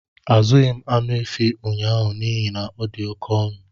Azụghị m anụ efi ụnyaahụ n'ihi na ọ dị oke ọnụ